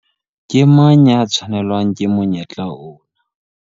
Ke mang ya tshwanelwang ke monyetla ona?